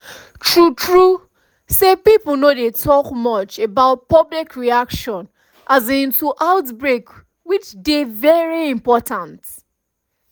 true true say pipo no dey talk much about public reaction um to outbreak which dey very important